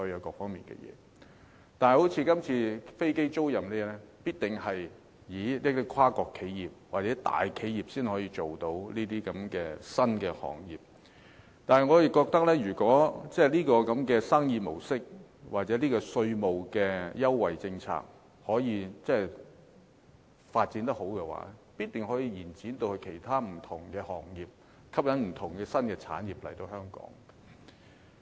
但是，正如這次說的飛機租賃，是跨國企業或大企業才能從事的新行業，如果這種生意模式或稅務優惠政策發展得好，必定可以延展至其他不同的行業，吸引不同的新產業來港。